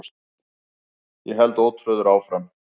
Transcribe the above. Ég held ótrauður áfram.